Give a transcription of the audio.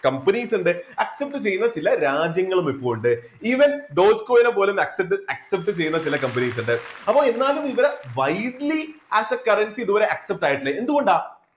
companies ഉണ്ട് accept ചെയ്യുന്ന ചില രാജ്യങ്ങളും ഇപ്പോൾ ഉണ്ട് even dotcoin നെ പോലും accept accept ചെയ്യുന്ന ചില companies ഉണ്ട് അപ്പോ എന്നാലും ഇവരെ widely as a currency ഇതുവരെ accept ആയിട്ടില്ല, എന്തുകൊണ്ടാ?